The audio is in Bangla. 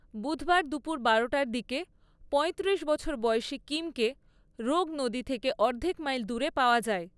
বুধবার দুপুর বারোটার দিকে পয়ত্রিশ বছর বয়সী কিমকে রোগ নদী থেকে অর্ধেক মাইল দূরে পাওয়া যায়।